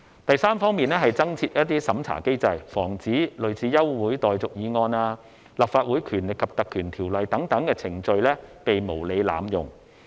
第三方面，是增設審查機制，防止類似休會待續議案、《立法會條例》等程序被無理濫用。